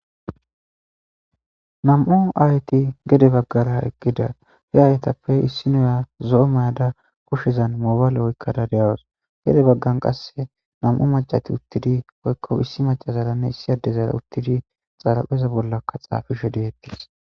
Nam7o ayti gede baggara eqqida he haytappe issi nuya zo7o mayada kushezan moobaale oykkada deawos gede baggan qasse nam7o macati uttidi oykko issi macazalanne issi addezara uttidi xaalapeza bollakka xaafishe deettis.